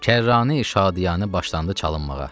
Kərrani şadiyanə başlandı çalınmağa.